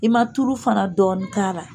I man turu fana dɔɔnin k'a ra.